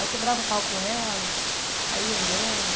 Aí quebrava o pau com ela, saía andando.